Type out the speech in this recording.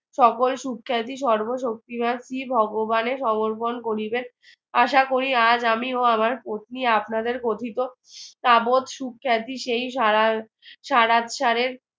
সকল সুখ্যাতি সর্বশক্তিমান শ্রী ভগবানে সমর্পণে করিবেন আশা করি আজ আমি ও আমার পত্নী আপনাদের কথিত সুখ্যাতি সেই